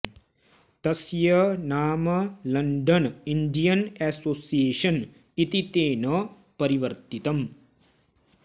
तस्य नाम London Indian Association इति तेन परिवर्तितम्